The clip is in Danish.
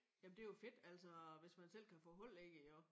Jamen det jo fedt altså hvis man selv kan gå hold i det jo